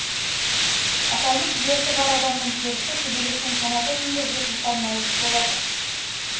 аталмыш дерті бар адамның терісі көбелектің қанаты сынды жұп жұқа нәзік болады